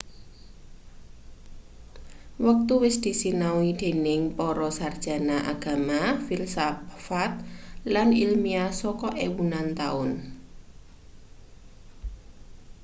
wektu wis disinau dening para sarjana agama filsafat lan ilmiah saka ewunan taun